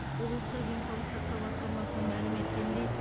облыстық денсаулық сақтау басқармасынан мәлім еткеніндей